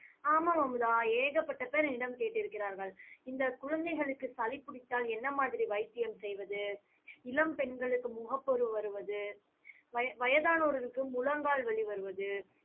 ஆமாம் அமுதா ஏகப்பட்ட பேர் என்னிடம் கேட்டிருக்கிறார்கள். இந்த குழந்தைகளுக்கு சளி பிடித்தால் என்ன மாதிரி வைத்தியம் செய்வது? இளம் பெண்களுக்கு முகப்பரு வருவது வய~ வயதானவர்களுக்கு முழங்கால் வலி வருவது,